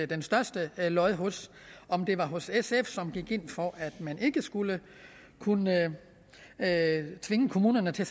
det største lod hos om det var hos sf som gik ind for at man ikke skulle kunne tvinge kommunerne til